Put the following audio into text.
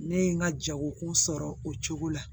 Ne ye n ka jago sɔrɔ o cogo la